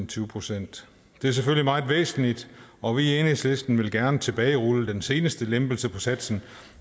tyve procent det er selvfølgelig meget væsentligt og vi i enhedslisten vil gerne tilbagerulle den seneste lempelse på satsen